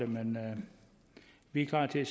men vi er klar til